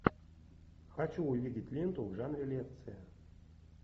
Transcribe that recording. хочу увидеть ленту в жанре лекция